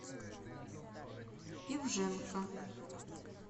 ивженко